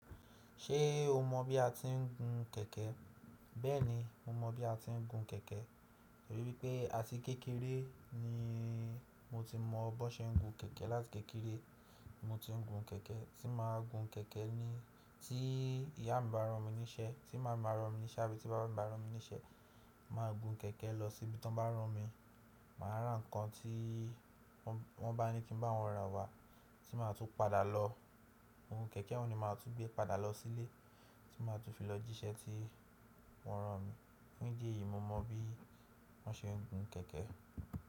Ṣé o mọ̀ bí a ti ń gun kẹ̀kẹ́? Bẹ́ẹ̀ni, mo mọ̀ bí a ti ń gun kẹ̀kẹ́, tori wípé àti kékeré ni mo ti mọ bón ṣe ń gun kẹ̀kẹ́. Láti kékeré mo ti ń gun kẹ̀kẹ́, tí màá gun kẹ̀kẹ́ ni tí ìyá mi bá rán mi níṣẹ́, tí màami ba rán mi níṣẹ́ àbí tí bàbá mi bá rán mi níṣẹ́, màá gun kẹ̀kẹ́ lọ sí ibi tí wọ́n bá rán mi. Màá ra ǹkan tí wọ́n bá ní kí n bá wọn rà wá tí màá tun padà lọ. Ohun kẹ̀kẹ́ un ni màá tun gbé padà lọ sílé tí màá tun fi lọ jíṣẹ́ tí wọ́n rán mi. Fún ìdí èyí, mo mọ bí wọ́n ṣe ń gun kẹ̀kẹ́.